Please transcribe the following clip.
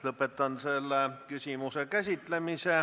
Lõpetan selle küsimuse käsitlemise.